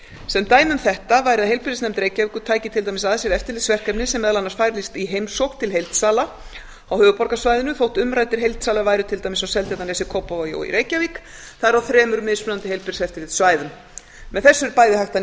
sem dæmi um þetta væri að heilbrigðisnefnd reykjavíkur tæki að sér eftirlitsverkefni sem meðal annars fælist í heimsókn til heildsala á höfuðborgarsvæðinu þótt umræddir heildsalar væru til dæmis á seltjarnarnesi kópavogi og í reykjavík það er á þremur mismunandi heilbrigðiseftirlitssvæðum með þessu er bæði hægt að